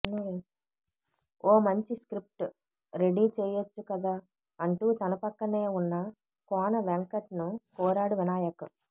ఓ మంచి script ready చేయొచ్చుకదా అంటూ తన పక్కనే ఉన్న కోన వెంకట్ ను కోరాడు వినాయక్